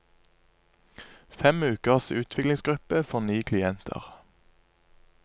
Fem ukers utviklingsgruppe for ni klienter.